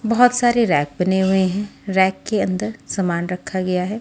बहुत सारे रैक बने हुए हैं रैक के अंदर सामान रखा गया है।